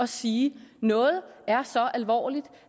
sige at noget er så alvorligt